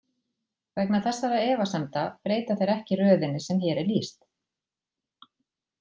Vegna þessara efasemda breyta þeir ekki röðinni sem hér er lýst.